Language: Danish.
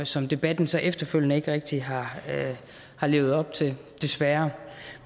som debatten så efterfølgende ikke rigtig har har levet op til desværre